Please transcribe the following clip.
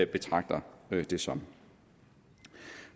betragter det som